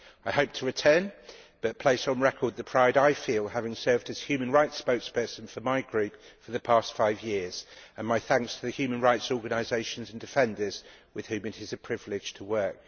I hope to return, but place on record the pride I feel having served as human rights spokesperson for my group for the past five years, and my thanks to the human rights organisations and defenders with whom it is a privilege to work.